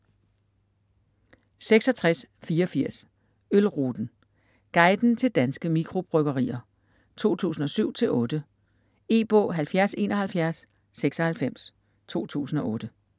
66.84 Ølruten: guiden til danske mikrobryggerier: 2007-2008 E-bog 707196 2008.